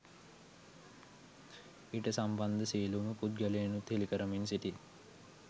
ඊට සම්බන්ධ සියලුම පුද්ගලයිනුත් හෙලිකරමින් සිටී.